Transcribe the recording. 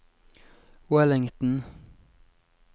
Wellington